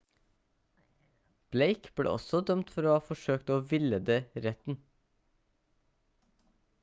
blake ble også dømt for å ha forsøkt å villede retten